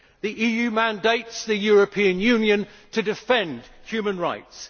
The EU mandates the European Union to defend human rights.